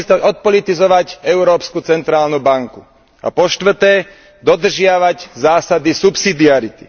odpolitizovať Európsku centrálnu banku a po štvrté dodržiavať zásady subsidiarity.